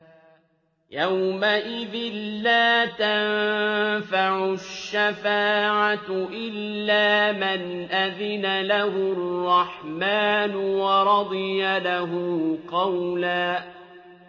يَوْمَئِذٍ لَّا تَنفَعُ الشَّفَاعَةُ إِلَّا مَنْ أَذِنَ لَهُ الرَّحْمَٰنُ وَرَضِيَ لَهُ قَوْلًا